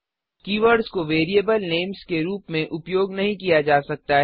keywords को variable names के रूप में उपयोग नहीं किया जा सकता है